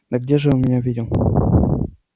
да где ж он меня видел